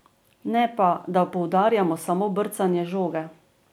Ne pa, da poudarjamo samo brcanje žoge.